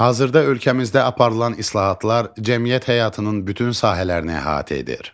Hazırda ölkəmizdə aparılan islahatlar cəmiyyət həyatının bütün sahələrini əhatə edir.